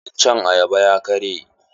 Iccen ayaban ya karye.